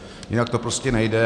Jinak to prostě nejde.